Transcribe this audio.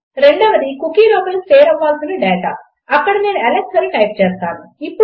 రెండవది కుకీ లోపల స్టోర్ అవ్వాల్సిన డాటా ఇక్కడ నేను అలెక్స్ అని టైప్ చేస్తాను